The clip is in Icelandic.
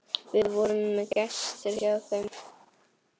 Við vorum gestir hjá þeim.